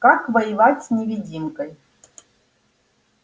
как воевать с невидимкой